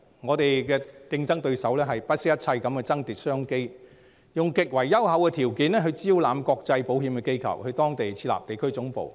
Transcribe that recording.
我們的競爭對手會不惜一切爭奪商機，以極為優厚的條件招攬國際保險機構到當地設立地區總部。